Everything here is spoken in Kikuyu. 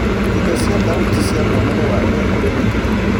ĩndo cia thauti cia mwonere wa ũrĩa kũri nĩ kĩĩ